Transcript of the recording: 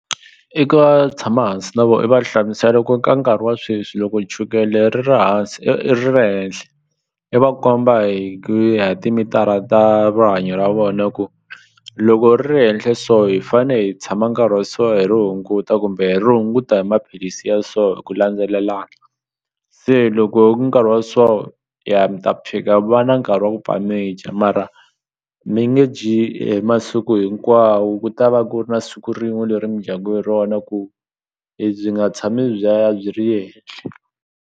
tshama hansi na vona i va hlamusela ku ka nkarhi wa sweswi loko chukele ri ri hansi ri ri henhle i va komba hi ku ya hi timitara ta rihanyo ra vona ku loko ri ri henhle so hi fane hi tshama nkarhi wa so hi ri hunguta kumbe ri hunguta hi maphilisi ya so hi ku landzelelana se loko ku nkarhi wa so ya mi ta va na nkarhi wa ku pfa mi dya mara mi nge dyi hi masiku hinkwawo ku ta va ku ri na siku rin'we leri mi dyaka hi rona ku byi nga tshami byi ri henhle.